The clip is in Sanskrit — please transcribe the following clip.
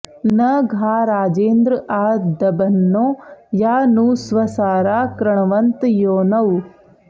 न घा राजेन्द्र आ दभन्नो या नु स्वसारा कृणवन्त योनौ